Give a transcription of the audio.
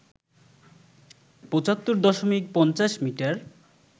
৭৫ দশমিক ৫০ মিটার